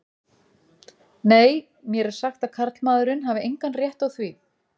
Nei, mér er sagt að karlmaðurinn hafi engan rétt á því.